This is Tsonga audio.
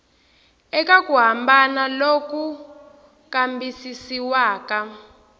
eka ku hambana loku kambisisiwaka